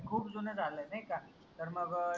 खूप जून झालंय नाई का? तर मग